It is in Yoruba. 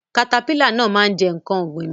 katapila náà ma jẹ nkán ọ̀gbìn mi.